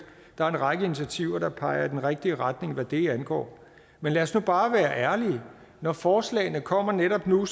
der er en række initiativer der peger i den rigtige retning hvad det angår men lad os nu bare være ærlige når forslagene kommer netop nu